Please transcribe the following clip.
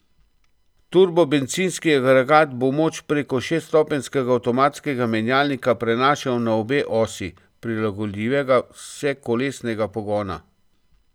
Turbobencinski agregat bo moč preko šeststopenjskega avtomatskega menjalnika prenašal na obe osi prilagodljivega vsekolesnega pogona.